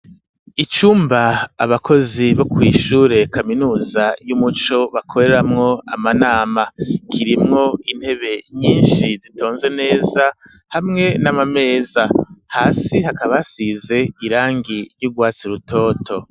Icumba abakozi bo kw'ishure kaminuza y'umuco bakoreramwo amanama kirimwo intebe nyinshi zitonze neza hamwe n'amameza hasi hakaba hasize irangi ry'ugwatsi rutoto.